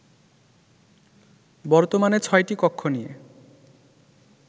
বর্তমানে ছয়টি কক্ষ নিয়ে